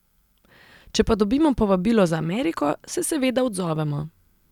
Če pa dobimo povabilo za Ameriko, se seveda odzovemo.